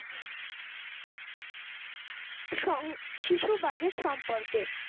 শ্রম শিশু budget সম্পর্কে,